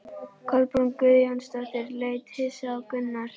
Kolbrún Guðjónsdóttir leit hissa á Gunnar.